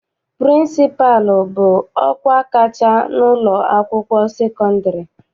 Pịrịnsịpalụ bụ ọkwa kacha n'ụlọakwụkwọ sekọndịrị.